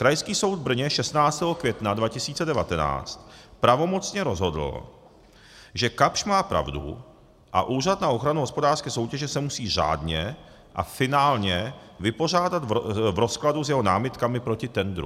Krajský soud v Brně 16. května 2019 pravomocně rozhodl, že Kapsch má pravdu a Úřad na ochranu hospodářské soutěže se musí řádně a finálně vypořádat v rozkladu s jeho námitkami proti tendru.